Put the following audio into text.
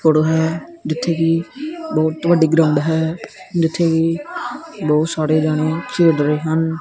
Photo ਹੈ ਜਿੱਥੇ ਕਿ ਬਹੁਤ ਵੱਡੀ ਗਰਾਉਂਡ ਹੈ ਬਹੁਤ ਸਾਰੇ ਜਾਣੇ ਆ ਖੇਡ ਰਹੇ ਹਨ।